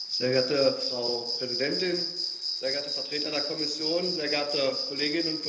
Frau Präsidentin, sehr geehrte Vertreter der Kommission, sehr geehrte Kolleginnen und Kollegen!